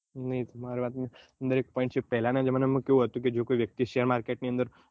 પેલાં ના જમાના કેવું હતું કે જો કોઈ વ્યક્તિ શેર market ની અંદર